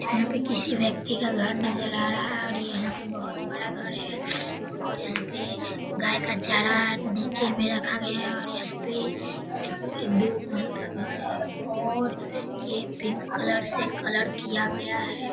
यहाँ पे किसी व्यक्ति का घर नजर आ रहा है और यहाँ पे बहोत बड़ा घर है और यहाँ पे गाय का चारा नीचे में रखा गया है और यहाँ पे दो महल का घर है और ये पिंक कलर से कलर किया गया है ।